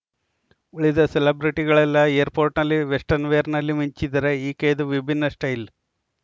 ಉಳಿದ ಸೆಲೆಬ್ರಿಟಿಗಳೆಲ್ಲ ಏರ್‌ಪೋರ್ಟ್‌ನಲ್ಲಿ ವೆಸ್ಟನ್‌ವೇರ್‌ನಲ್ಲಿ ಮಿಂಚಿದರೆ ಈಕೆಯದು ವಿಭಿನ್ನ ಸ್ಟೈಲ್‌